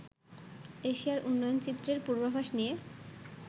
এশিয়ার উন্নয়নচিত্রের পূর্বাভাস নিয়ে